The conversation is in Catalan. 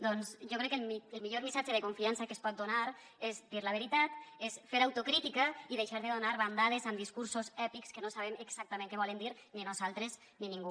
doncs jo crec que el millor missatge de confiança que es pot donar és dir la veritat és fer autocrítica i deixar de donar bandades amb discursos èpics que no sabem exactament què volen dir ni nosaltres ni ningú